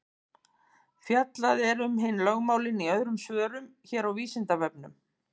Fjallað er um hin lögmálin í öðrum svörum hér á Vísindavefnum.